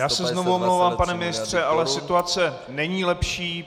Já se znovu omlouvám, pane ministře, ale situace není lepší.